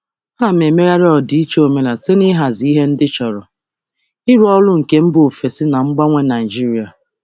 Ana m emegharị ọdịiche omenala site n'ịhazi ihe ndị chọrọ ịrụ ọrụ nke mba ofesi na mgbanwe Nigeria.